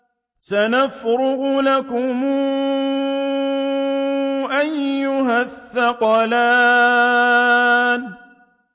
سَنَفْرُغُ لَكُمْ أَيُّهَ الثَّقَلَانِ